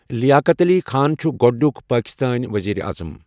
لیاقت علی خان چھُ گۄڈنیک پٲکستٲنۍ ؤزیٖرِ اعظم.